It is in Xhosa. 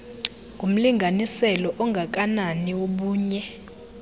ngumlinganiselo ongakanani wobunye